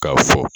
K'a fɔ